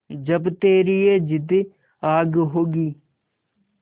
जब तेरी ये जिद्द आग होगी